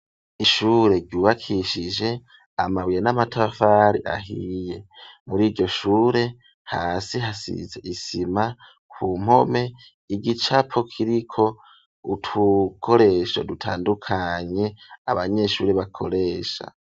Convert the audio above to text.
Ishure ryubakishije, amabuye n'amatafari ahiye, muri iryo shure, hasi hasize isima; ku mpome, igicapo kiriko utukoresho, dutandukanye, abanyeshuri bakoresha.